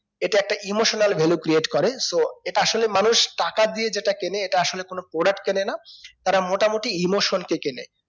এটা একটা emotional value create করে so এটা আসলে মানুষ টাকা দিয়ে যেটা কেনে এটা আসলে কোনো product কেনে না তারা মোটামোটি emotion কে কেনে